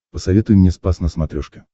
посоветуй мне спас на смотрешке